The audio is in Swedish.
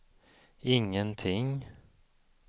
ingenting